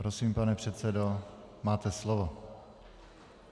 Prosím, pane předsedo, máte slovo.